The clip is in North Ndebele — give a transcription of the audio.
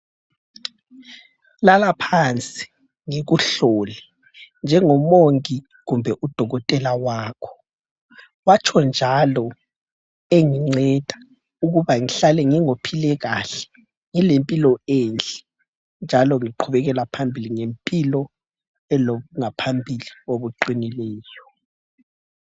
“Lala phansi ngikuhlole njengomongi kumbe udokotela wakho”, watsho njalo enginceda ukuba ngihlale ngingophile kahle, ngilempilo enhle njalo ngiqhubekela phambili ngempilo elokungaphambili okuqinileyo.